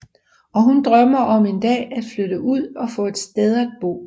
Og hun drømmer om en dag at flytte ud og få et sted at bo